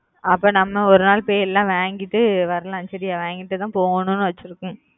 அப்புறம் நம்ம ஒரு நாள் பொய் எல்லாம் வாங்கிட்டு வருவோம் சரியா வாங்கிட்டு தான் போகணும் ன்னு ஆச்சு இருக்கோம்